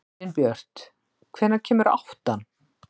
Elínbjört, hvenær kemur áttan?